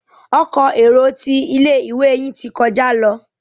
Ọkọ̀ èrò tí ilé-ìwé yin tí kọjá ló.